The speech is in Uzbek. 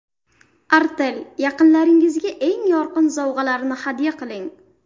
Artel: Yaqinlaringizga eng yorqin sovg‘alarni hadya qiling.